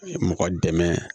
Mɔgɔ dɛmɛ